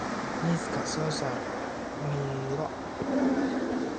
miiska soo saar miroo.